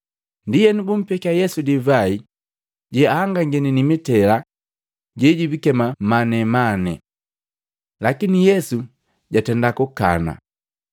Ndienu, bumpekya Yesu divai jeahangagini mitela jebijikema manemane. Lakini Yesu jatenda kukana